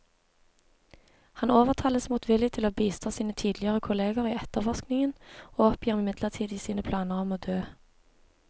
Han overtales motvillig til å bistå sine tidligere kolleger i etterforskningen, og oppgir midlertidig sine planer om å dø.